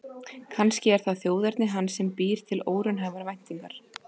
Kannski er það þjóðerni hans sem býr til óraunhæfar væntingar.